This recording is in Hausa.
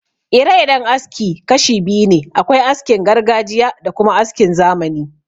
Ire-iren aski kashi biyu ne: akwai askin gargajiya da kuma askin zamani